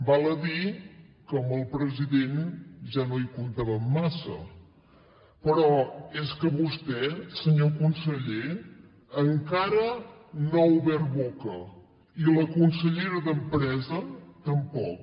val a dir que amb el president ja no hi comptàvem massa però és que vostè senyor conseller encara no ha obert boca i la consellera d’empresa tampoc